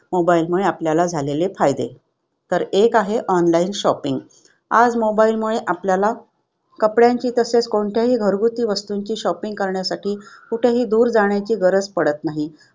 Mobile मुळे आपल्याला झालेले फायदे. तर एक आहे online shopping. आज mobile मुळे आपल्याला कपड्यांची तसेच कोणत्याही घरगुती वस्तूंची shopping करण्यासाठी कुठंही दूर जाण्याची गरज पडत नाही.